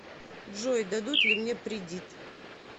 джой дадут ли мне придит